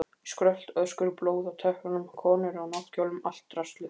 Skrölt, öskur, blóð á teppunum, konur á náttkjólum, allt draslið.